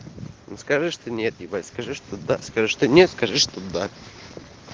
ну скажи что нет ебать скажи что да скажи что нет скажи что да